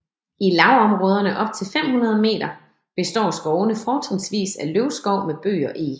I lavområderne op til 500 meter består skovene fortrinsvis af løvskov med bøg og eg